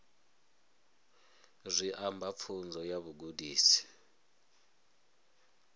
zwi amba pfunzo ya vhugudisi